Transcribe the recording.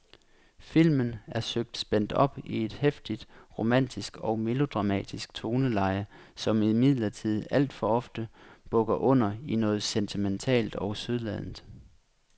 Filmen er søgt spændt op i et heftigt romantisk og melodramatisk toneleje, som imidlertid alt for ofte bukker under i noget sentimentalt og sødladent.